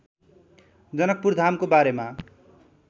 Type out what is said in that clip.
जनकपुरधामको बारेमा